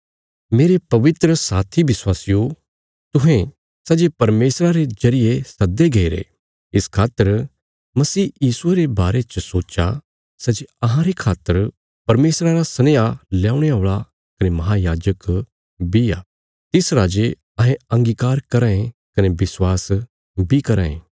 मेरे पवित्र साथी विश्वासियो तुहें सै जे परमेशरा रे जरिये सद्दे गईरे इस खातर मसीह यीशुये रे बारे च सोच्चा सै जे अहांरे खातर परमेशरा रा सनेहा ल्यौणे औल़ा कने महायाजक बी आ तिस राजे अहें अंगीकार कराँ ये कने विश्वास बी कराँ ये